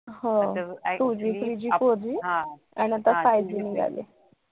हो two Gthree Gfour G आणि आता five G निघालं